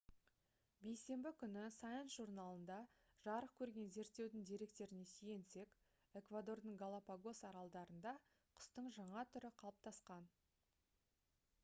бейсенбі күні science журналында жарық көрген зерттеудің деректеріне сүйенсек эквадордың галапагос аралдарында құстың жаңа түрі қалыптасқан